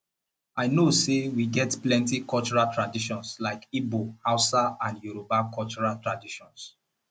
i know say we get plenty cultural traditions like igbo hausa and yoruba cultural traditions